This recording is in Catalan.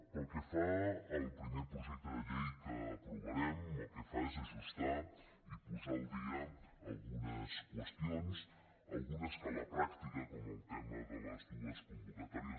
pel que fa al primer projecte de llei que aprovarem el que fa és ajustar i posar al dia algunes qüestions algunes que a la pràctica com el tema de les dues convocatòries